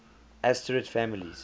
asterid families